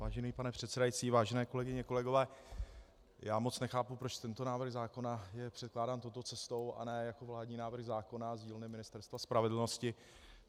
Vážený pane předsedající, vážené kolegyně, kolegové, já moc nechápu, proč tento návrh zákona je předkládán touto cestou a ne jako vládní návrh zákona z dílny Ministerstva spravedlnosti.